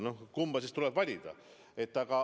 No kumb siis tuleb valida?